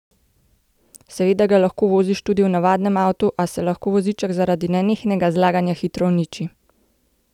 Seveda ga lahko voziš tudi v navadnem avtu, a se lahko voziček zaradi nenehnega zlaganja hitro uniči.